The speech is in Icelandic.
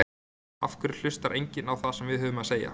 Af hverju hlustar enginn á það sem við höfum að segja?